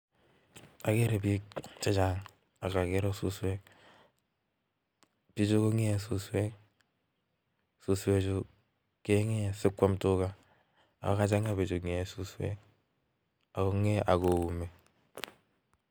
Ageree piik chechang AK agere susweek. pichu longer susweek suswee chuu kengee sigopit kwam tugaaaa kingeee suswek ako. kiuum sigopit kwam Tuga